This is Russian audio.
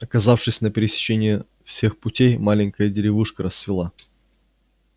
оказавшись на пересечении всех путей маленькая деревушка расцвела